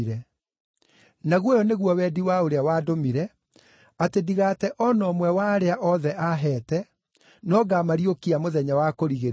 Naguo ũyũ nĩguo wendi wa ũrĩa wandũmire, atĩ ndigaate o na ũmwe wa arĩa othe aaheete, no ngaamariũkia mũthenya wa kũrigĩrĩria.